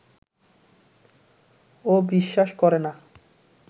ও বিশ্বাস করে না